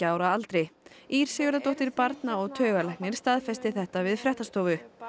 ára aldri Ýr Sigurðardóttir barna og taugalæknir staðfestir þetta við fréttastofu